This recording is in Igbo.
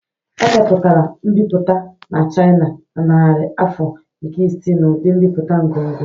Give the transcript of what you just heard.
Emepụtara mbipụta na China na narị afọ nke isii n'ụdị mbipụta ngọngọ